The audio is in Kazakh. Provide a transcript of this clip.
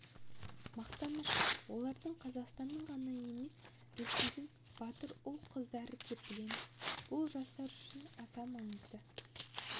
мақтаныш оларды қазақстанның ғана емес ресейдің батыр ұл-қыздары деп білеміз бұл жастар үшін аса маңызды